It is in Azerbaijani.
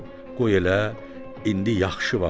Qoy elə indi yaxşı vaxtdır.